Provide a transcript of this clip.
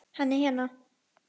Hann er hérna